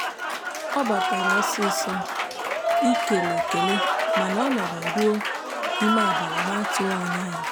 ọ batara ọsịsọ ị kele ekele mana ọ nọrọ ruo ime abalị n'atụghị anya ya.